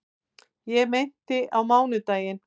Ég meinti á mánudaginn.